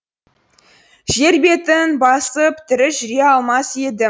жер бетін басып тірі жүре алмас едім